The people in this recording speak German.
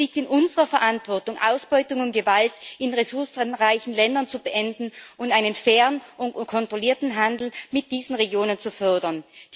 Es liegt in unserer Verantwortung, Ausbeutung und Gewalt in ressourcenreichen Ländern zu beenden und einen fairen und kontrollierten Handel mit diesen Regionen zu fördern.